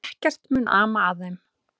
Ekkert mun ama að þeim.